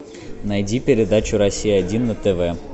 найди передачу россия один на тв